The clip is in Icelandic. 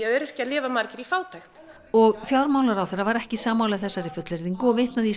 öryrkjar lifa margir í fátækt og fjármálaráðherra var ekki sammála þessari fullyrðingu og vitnaði í